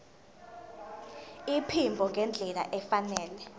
iphimbo ngendlela efanele